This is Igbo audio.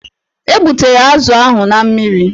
E gbutere azụ ahụ na mmiri.